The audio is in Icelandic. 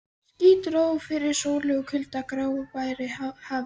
Ský dró fyrir sólu og kul gáraði hafið.